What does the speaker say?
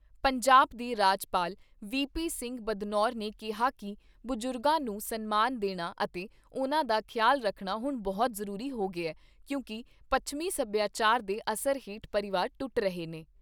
ਪੰਜਾਬ ਦੇ ਰਾਜਪਾਲ V P Singh Badnore ਨੇ ਕਿਹਾ ਕਿ ਬਜ਼ੁਰਗਾਂ ਨੂੰ ਸਨਮਾਨ ਦੇਣਾ ਅਤੇ ਉਨ੍ਹਾਂ ਦਾ ਖਿਆਲ ਰੱਖਣਾ ਹੁਣ ਬਹੁਤ ਜ਼ਰੂਰੀ ਹੋ ਗਿਆ ਕਿਉਂਕਿ ਪੱਛਮੀ ਸਭਿਆਚਾਰ ਦੇ ਅਸਰ ਹੇਠ ਪਰਿਵਾਰ ਟੁੱਟ ਰਹੇ ਨੇ।